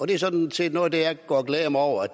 det er sådan set noget af jeg går og glæder mig over